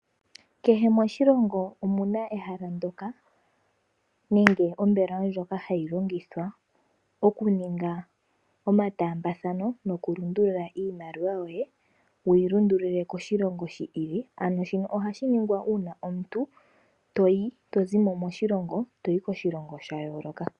Kehe moshilongo omuna ehala ndyoka nenge ombelewa ndjoka hayi longithwa moku ninga oma taambathano, noku lundulula iimaliwa yoye, wuyi lundululile koshilongo shi ili. Ano shino ohashi ningwa uuna omuntu tozimo moshilongo, toyi koshilongo sha yooloka.